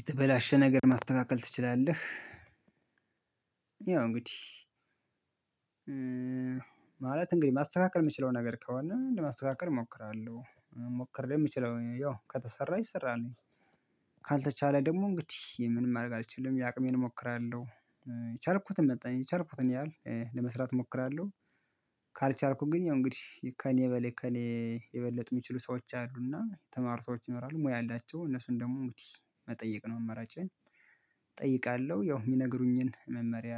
የተበላሸ ነገር ማስተካከል ትችላለህ? ያው እንግዲህ ማለት እንግዲህ ማስተካከል የምችለው ነገር ከሆነ ለማስተካከል እሞክራለሁ መሞክር የምችለው ያው ከተሰራ ይሰራል። ካልተቻለ ደግሞ እንግዲህ ምንም ማድረግ አልችልም የአቅሜን እሞክራለሁ የቻልኩትን መጠን የቻልኩትን ያህል ለመስራት እሞክራለሁ። ካልቻልኩ ግን ያው እንግዲህ ከእኔ በሌ ከኔ የበለጠ የሚችሉ ሰዎች አሉና የተማሩ ሰዎች ይመራሉ ሙያ አላቸው እነሱን ደግሞ እንግዲህ መጠየቅ ነው አማራጬን። እጠይቃለሁ ያው የሚነግሩኝን መመሪያ